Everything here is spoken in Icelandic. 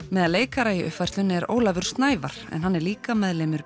meðal leikara í uppfærslunni er Ólafur Snævarr en hann er líka meðlimur